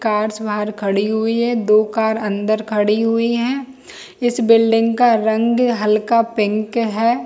Cars बाहर खड़ी हुई है दो कार अंदर खड़ी हुई हैइस बिल्डिंग का रंग हल्का पिक है।